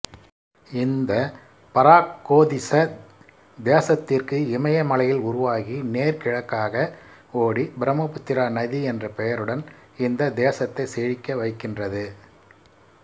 இந்த பராக்கோதிசதேசத்திற்கு இமயமலையில் உருவாகி நேர்கிழக்காக ஓடிபிரம்மபுத்ரா நதி என்ற பெயருடன் இந்த தேசத்தை செழிக்க வைக்கின்றது